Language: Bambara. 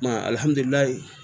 alihamidililayi